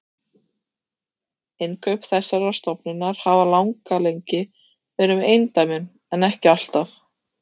Innkaup þessarar stofnunar hafa langalengi verið með eindæmum, en ekki alltaf.